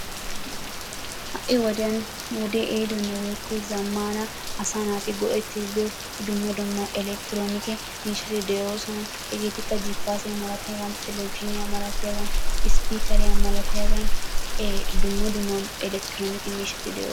Ha'i wodiyaan nu wode ehidonne woykko zammana asaa naati go"ettide diyo dumma dumma Elekitronike miishshati de'oosona. Hegetikka Jipaassiya malatiyaaga, Televizhzhiniyaa malatiyaaga, spiikeriya malaatiyaagan ee dumma dumma elekitronike miishshati de'oosona.